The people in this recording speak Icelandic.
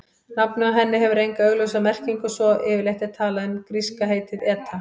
Nafnið á henni hefur enga augljósa merkingu svo yfirleitt er talað um gríska heitið eta.